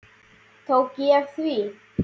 Tók ég því?